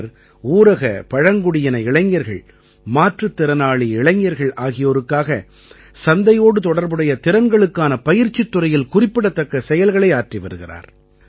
அவர் ஊரக பழங்குடியின இளைஞர்கள் மாற்றுத் திறனாளி இளைஞர்கள் ஆகியோருக்காக சந்தையோடு தொடர்புடைய திறன்களுக்கான பயிற்சித் துறையில் குறிப்பிடத்தக்க செயல்களை ஆற்றி வருகிறார்